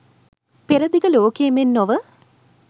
පෙර දිග ලෝකයේ මෙන් නොව